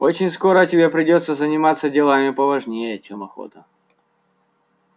очень скоро тебе придётся заниматься делами поважнее чем охота